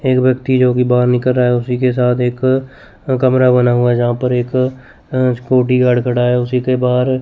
एक व्यक्ति जो कि बाहर निकल रहा है उसी के साथ एक कमरा बना हुआ है जहां पर एक अह सिक्योरिटी गार्ड खड़ा है उसी के बाहर --